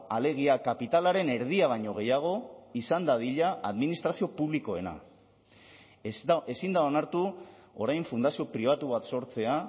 alegia kapitalaren erdia baino gehiago izan dadila administrazio publikoena ezin da onartu orain fundazio pribatu bat sortzea